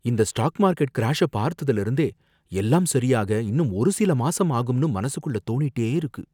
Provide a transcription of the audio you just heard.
இந்த stock market கிராஷ்ஷ பார்த்ததுல இருந்தே, எல்லாம் சரியாக இன்னும் ஒரு சில மாசம் ஆகும்னு மனசுக்குள்ள தோணிட்டே இருக்கு.